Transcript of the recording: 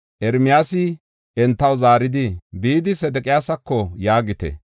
Ermiyaasi entaw zaaridi, “Bidi Sedeqiyaasako yaagite: